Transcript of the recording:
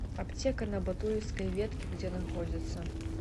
аптека на батуевской ветке где находится